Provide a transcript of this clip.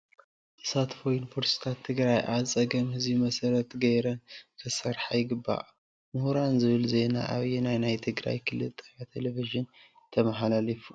ተሳትፎ ዩኒቨርሲታት ትግራይ ኣብ ፀገም ህዝቢ መሰረት ገይረን ክሰርሓ ይግባእ። መሁራን ዝብል ዜና ኣበየናይ ናይ ትግራይ ክልል ጣብያ ቴልቭዠን ተመሓላሊፋ?